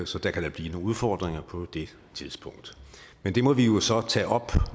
så der kan blive nogle udfordringer på det tidspunkt men det må vi jo så tage op